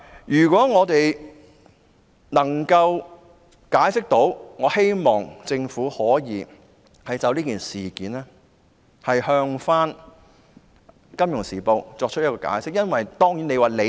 如果可以，我希望政府可就此事件向《金融時報》作出解釋。